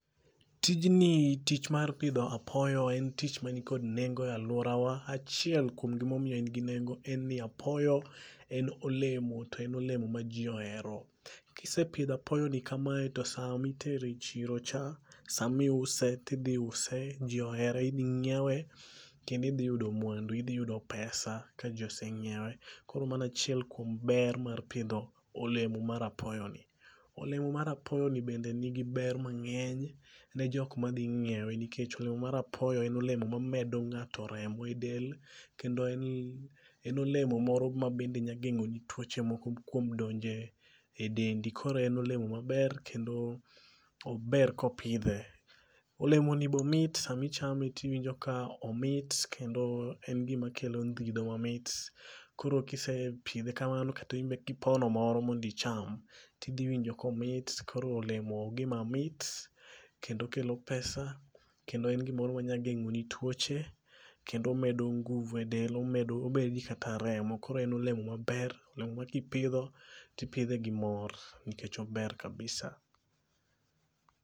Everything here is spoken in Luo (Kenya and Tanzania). Tijni tich mar pidho apoyo en tich manikod nengo e alworawa. Achiel kuom gimomiyo en gi nengo en ni apoyo en olemo to en olemo ma ji ohero. Kisepidho apoyoni kamae to samitere e chiro cha samiuse tidhiuse ji ohere idhi ng'iewe kendo idhi yudo mwandu. Idhi yudo pesa ka ji oseng'iewe koro mano achiel kuom ber mar pidho olemo mar apoyoni. Olemo mar apoyoni bende nigi ber mang'eny ne jokma dhi ng'iewe nikech olemo mar apoyo en olemo mamedo ng'ato remo e del kendo en olemo moro mabende nyageng'oni tuoche moko kuom donje e dendi koro en olemo maber kendo ober kopidhe. Olemoni bomit samichame tiwinjo ka omit kendo en gimakelo ndhidho mamit, koro kisepidhe kamano kasto imbe kipono moro mondicham, tidhiwinjo komit koro olemo gima mit kendo kelo pesa kendo en gimoro manyageng'oni tuoche kendo omedo nguvu e del omedi kata remo koro en olemo maber olemo ma kipidho tipidhe gi mor nikech ober kabisa.